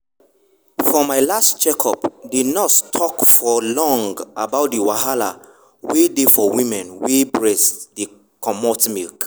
for my last check up the nurse talk for long about the wahala wen dey for women wey breast dey comot milk.